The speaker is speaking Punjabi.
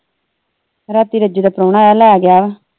ਰਾਤੀ ਰੱਜੋ ਦਾ ਪ੍ਰੋਹਣਾ ਆਇਆ ਲੈ ਗਿਆ ਵਾ।